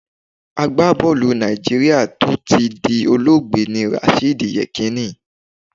Àgbábọ́ọ̀lù Nàìjíríà tó ti di olóògbé ni Rashidi Yekinni